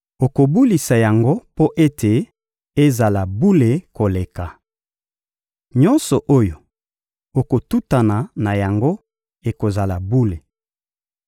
Okobulisa yango mpo ete ezala bule koleka. Nyonso oyo ekotutana na yango ekozala bule.